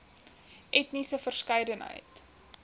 etniese verskeidenheid